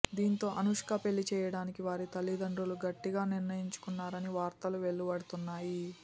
దీంతో అనుష్క పెళ్లి చేయడానికి వారి తల్లి దండ్రులు గట్టిగా నిర్ణయించుకున్నారని వార్తలు వెలువడుతున్నాయి